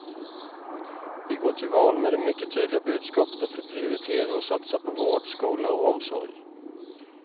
Vi går till val med det mycket tydliga budskapet att vi prioriterar och satsar på vård, skola och omsorg.